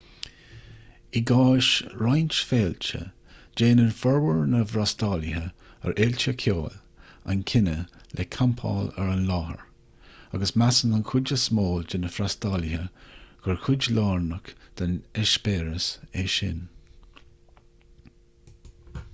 i gcás roinnt féilte déanann formhór na bhfreastalaithe ar fhéilte ceoil an cinneadh le campáil ar an láthair agus measann an chuid is mó de na freastalaithe gur chuid lárnach den eispéireas é sin